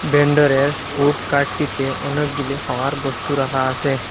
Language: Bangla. বেন্ডারের ফুড কার্টটিতে অনেকগুলি খাওয়ার বস্তু রাখা আসে।